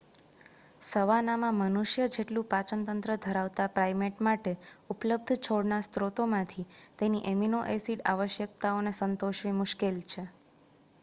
સવાનામાં મનુષ્ય જેવું પાચન તંત્ર ધરાવતા પ્રાઈમેટ માટે ઉપલબ્ધ છોડના સ્રોતોમાંથી તેની એમિનો-એસિડ આવશ્યકતાઓને સંતોષવી મુશ્કેલ છે